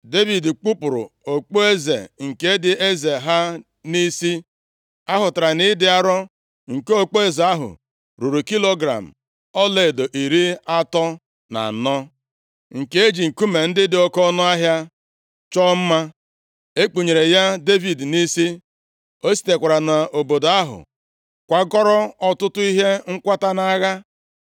Devid kpupuru okpueze nke dị eze ha nʼisi, ahụtara nʼịdị arọ nke okpueze ahụ ruru kilogram ọlaedo iri atọ na anọ, nke e ji nkume ndị dị oke ọnụahịa chọọ mma, e kpunyere ya Devid nʼisi. O sitekwara nʼobodo ahụ kwakọrọ ọtụtụ ihe nkwata nʼagha.